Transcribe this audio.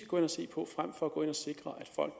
gå ind og se på frem for at gå ind og sikre at folk